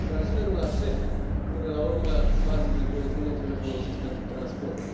Transferul la SEF până la urmă, banii din coeziune trebuie folosiți pentru transport.